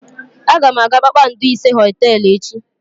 Aga m aga kpakpando ise hoteelu echi.